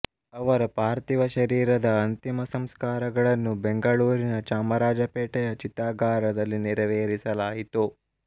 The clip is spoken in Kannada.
ಅವರ ಪಾರ್ಥಿವ ಶರೀರದ ಅಂತಿಮ ಸಂಸ್ಕಾರಗಳನ್ನು ಬೆಂಗಳೂರಿನ ಚಾಮರಾಜ ಪೇಟೆಯ ಚಿತಾಗಾರದಲ್ಲಿ ನೆರವೇರಿಸಲಾಯಿತು